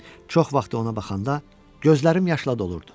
Çox vaxt ona baxanda gözlərim yaşla dolurdu.